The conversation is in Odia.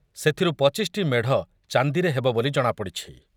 ସେଥିରୁ ପଚିଶି ଟି ମେଢ଼ ଚାନ୍ଦିରେ ହେବ ବୋଲି ଜଣାପଡ଼ିଛି ।